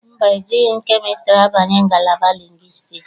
Mba, ejighị kemịstrị abanye ngalaba lingwistiks.